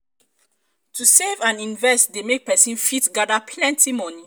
to save and invest de make persin fit gather plenty money